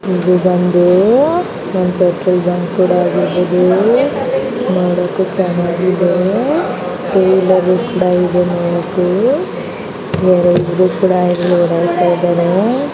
ಇದು ಬಂದು ನೋಡಕ್ಕೆ ಚೆನ್ನಾಗಿದೆ